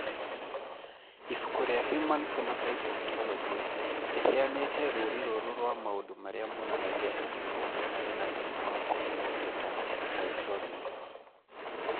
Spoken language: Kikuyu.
Ibuku rĩa Human Phenotype Ontology rĩheanĩte rũũri rũrũ rwa maũndũ marĩa monanagia atĩ mũndũ arĩ na thĩna wa kũheo beta hydroxylase.